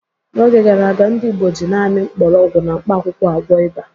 N’oge gara aga, ndị Igbo ji naanị mgbọrọgwụ na mkpakwụkwọ agwọ ịba.